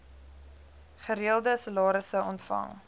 gereelde salarisse ontvang